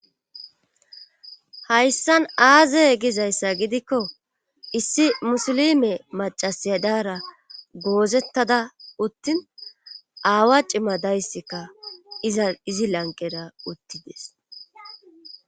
hayssan aaze gizayssa gidikko issi musulime macasiya daara goozettada uttin aawa cima dayssikka iza izi lanqera uttides